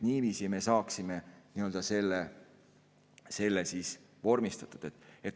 Niiviisi me saaksime selle vormistatud.